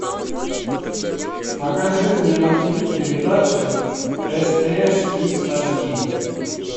покажи мне на тв передачу стс кидс аш ди